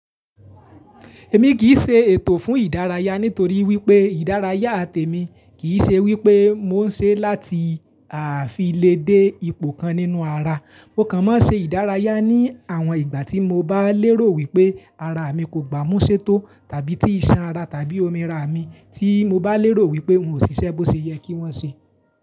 Èmi kìí ṣe ètò fún ìdárayá nítorí wípé ìdárayá temi kìí ṣe wípé mo n ṣe láti àfi léde ipò kan nínú ara. Mo kàn mọ́ ṣe ìdárayá ní àwọn ìgbà tí mo bá lérò wípé ara mi kò gbámú ṣétó tàbí tí iṣan ara tàbí omi ara mi tí mo bá lérò wípé n ò ṣiṣẹ́ bó ṣe yẹ kí wọ́n ṣe.